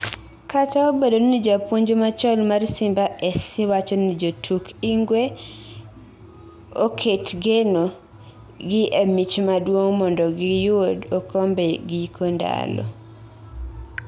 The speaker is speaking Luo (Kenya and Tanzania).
Kata obedo ni japuonj machon mar Simba SC wacho ni jotuk Ingwe oket geno gi emich maduong mondogi yud okombe giko ndalo